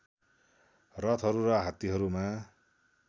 रथहरू र हात्तीहरूमा